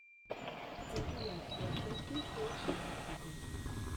компиляция крипи кэт на ютубе